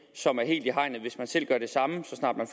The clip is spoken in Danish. som er helt i hegnet hvis man selv gør det samme så snart man